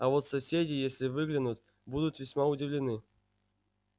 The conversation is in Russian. а вот соседи если выглянут будут весьма удивлены